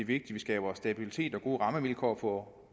vi skaber stabilitet og gode rammevilkår for